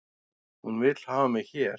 Hún vill hafa mig hér